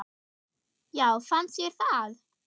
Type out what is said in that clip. Já fannst þér það?